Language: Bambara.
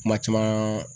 Kuma caman